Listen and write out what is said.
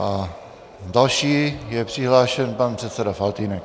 A další je přihlášen pan předseda Faltýnek.